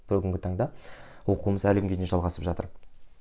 бүгінгі таңда оқуымыз әлі күнге дейін жалғасып жатыр